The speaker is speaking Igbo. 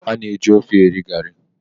A na-eji ofe eri garri.